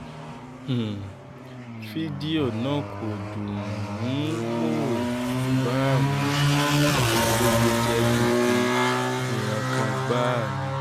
um fídíò náà kò dùn-ún-wò bá um ní lójú jẹ́ gidi ìrankàn gbáà ni